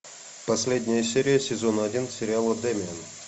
последняя серия сезона один сериала дэмиен